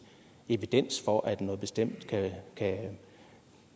evidens for at noget bestemt kan kan